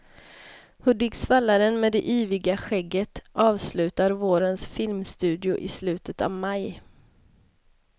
Hudiksvallaren med det yviga skägget avslutar vårens filmstudio i slutet av maj.